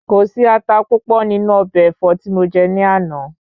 Kò sí ata púpọ̀ nínú ọbẹ̀ ẹ̀fọ́ tí mo jẹ ní àná.